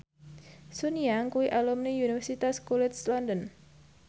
Sun Yang kuwi alumni Universitas College London